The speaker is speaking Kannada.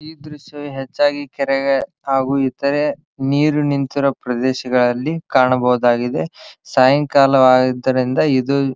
ಈ ದ್ರಶ್ಯ ಹೆಚ್ಚಾಗಿ ಕೆರೆಗೆ ಹಾಗು ಇತರೆ ನೀರು ನಿಂತಿರೊ ಪ್ರದೇಶಗಳಲ್ಲಿ ಕಾಣಬಹುದಾಗಿದೆ ಸಾಯಂಕಾಲ ಆದ್ದರಿಂದ ಇದು.